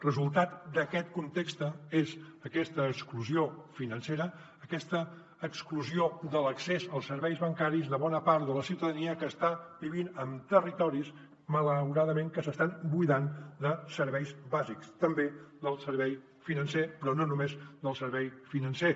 resultat d’aquest context és aquesta exclusió financera aquesta exclusió de l’accés als serveis bancaris de bona part de la ciutadania que està vivint en territoris malauradament que s’estan buidant de serveis bàsics també del servei financer però no només del servei financer